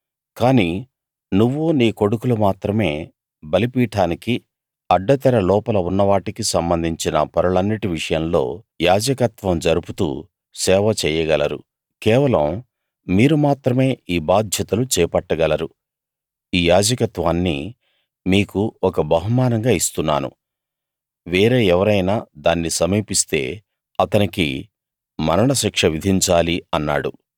కాని నువ్వూ నీ కొడుకులు మాత్రమే బలిపీఠానికీ అడ్డతెర లోపల ఉన్న వాటికీ సంబంధించిన పనులన్నిటి విషయంలో యాజకత్వం జరుపుతూ సేవ చెయ్యగలరు కేవలం మీరు మాత్రమే ఈ బాధ్యతలు చేపట్టగలరు ఈ యాజకత్వాన్ని మీకు ఒక బహుమానంగా ఇస్తున్నాను వేరే ఎవరైనా దాన్ని సమీపిస్తే అతనికి మరణ శిక్ష విధించాలి అన్నాడు